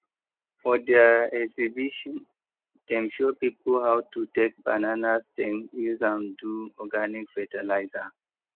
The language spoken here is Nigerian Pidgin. for their exhibition dem show people how to take banana stem use am do organic fertilizer